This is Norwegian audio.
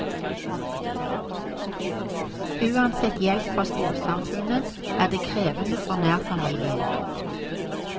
Uansett hjelp fra storsamfunnet er det krevende for nærfamilien.